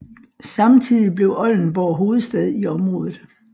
Samtidigt blev Oldenborg hovedstad i området